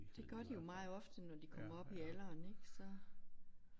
Det gør de jo meget ofte når de kommer op i alderen ik så